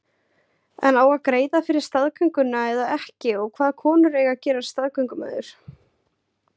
En á að greiða fyrir staðgönguna eða ekki og hvaða konur eiga að gerast staðgöngumæður?